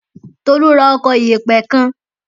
Tolu ra ọkọ̀ ìyẹ̀pẹ̀ kan.